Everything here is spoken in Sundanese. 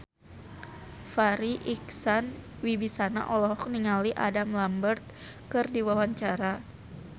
Farri Icksan Wibisana olohok ningali Adam Lambert keur diwawancara